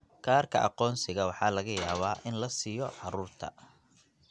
Kaarka aqoonsiga waxa laga yaabaa in la siiyo carruurta.